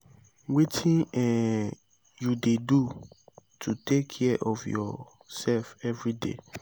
wetin um you dey do to take care of your self everyday?